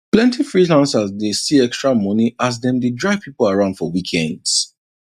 plenty freelancers dey see extra money as dem dey drive people around for weekends